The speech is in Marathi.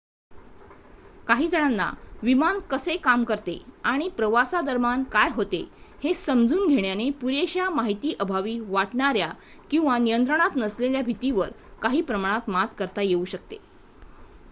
काही जणांना विमान कसे काम करते आणि प्रवासादरम्यान काय होते हे समजून घेण्याने पुरेशा माहिती अभावी वाटणाऱ्या किंवा नियंत्रणात नसलेल्या भीतीवर काही प्रमाणात मात करता येऊ शकते